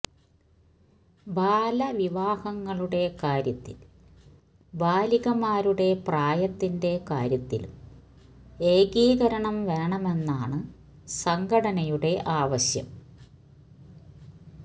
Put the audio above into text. ബാലവിവാഹങ്ങളുടെ കാര്യത്തിൽ ബാലികമാരുടെ പ്രായത്തിന്റെ കാര്യത്തിലും ഏകീകരണം വേണമെന്നാണ് സംഘടനയുടെ ആവശ്യം